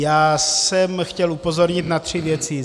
Já jsem chtěl upozornit na tři věci.